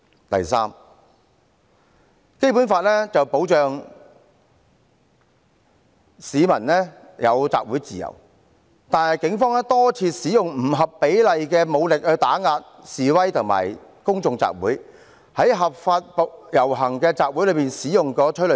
第三，《基本法》保障市民有集會自由，但警方多次使用不合比例武力打壓示威和公眾集會，在合法的遊行集會中使用催淚彈。